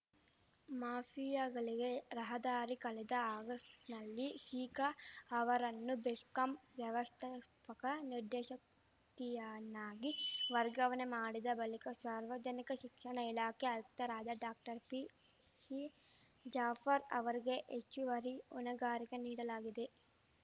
ಮಾಫಿಯಾಗಳಿಗೆ ರಹದಾರಿ ಕಳೆದ ಆಗಸ್ಟ್‌ನಲ್ಲಿ ಶಿಖಾ ಅವರನ್ನು ಬೆಶ್ಕಾಂ ವ್ಯವಸ್ಥಾಪಕ ನಿರ್ದೇಶಕಿಯನ್ನಾಗಿ ವರ್ಗಾವಣೆ ಮಾಡಿದ ಬಳಿಕ ಶಾರ್ವಜನಿಕ ಶಿಕ್ಷಣ ಇಲಾಖೆ ಆಯುಕ್ತರಾದ ಡಾಕ್ಟರ್ಪಿಶಿ ಜಾಫರ್ ಅವರಿಗೆ ಹೆಚ್ಚುವರಿ ಹೊಣೆಗಾರಿಕೆ ನೀಡಲಾಗಿದೆ